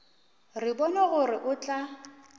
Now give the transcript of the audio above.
re bone gore o tla